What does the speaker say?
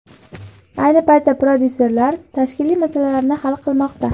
Ayni paytda prodyuserlar tashkiliy masalalarni hal qilmoqda.